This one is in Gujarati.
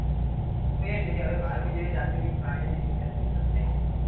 તો એમ છે કે વાઘ જેવી જાતિઓ ની પ્રાણીઓ જતી લુપ્ત થાય છે.